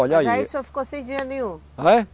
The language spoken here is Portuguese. Olha aí. Mas aí o senhor ficou sem dinheiro nenhum?